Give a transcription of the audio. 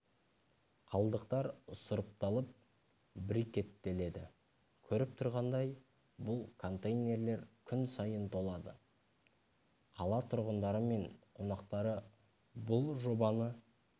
қалдықтар сұрыпталып брикеттеледі көріп тұрғандай бұл контейнерлер күн сайын толады қала тұрғындары мен қонақтары бұл жобаны